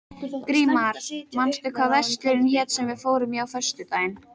Grímar, manstu hvað verslunin hét sem við fórum í á föstudaginn?